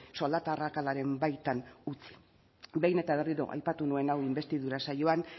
soldata arrakalaren baitan utzi behin eta berriro aipatu nuen hau inbestidura saioan